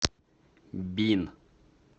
бин